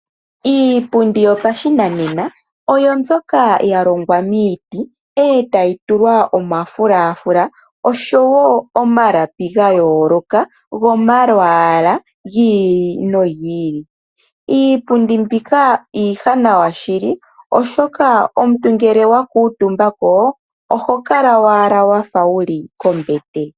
Iipundi yopashinanena oyo mbyoka ya longwa miiti eta yitulwa omafulafula osho woo omalapi ga yooloka gomalwaala gi ili no gi ili. Iipundi mbika iiwanawa shili oshoka omuntu ngele wa kuutumba ko oho kala owala wafa wuli kombete.